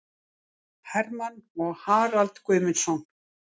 Hermann og Harald Guðmundsson